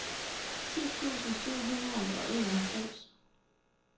ti tusind syv hundrede og enoghalvfems